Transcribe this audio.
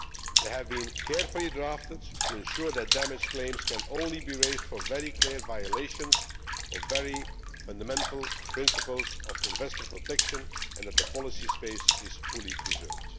document. They have been carefully drafted to ensure that damage claims can only be raised for very clear violations or very fundamental principles of investor protection and that the policy space is fully